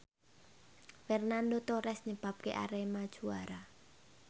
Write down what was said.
Fernando Torres nyebabke Arema juara